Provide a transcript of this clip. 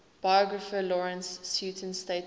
biographer lawrence sutin stated that